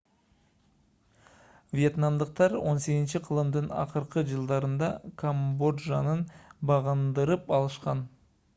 вьетнамдыктар 18-кылымдын акыркы жылдарында камбоджаны багындырып алышкан